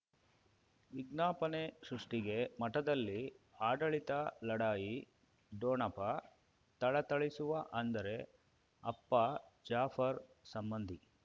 ವಿಜ್ಞಾಪನೆ ಸೃಷ್ಟಿಗೆ ಮಠದಲ್ಲಿ ಆಡಳಿತ ಲಢಾಯಿ ಠೊಣಪ ಥಳಥಳಿಸುವ ಅಂದರೆ ಅಪ್ಪ ಜಾಫರ್ ಸಂಬಂಧಿ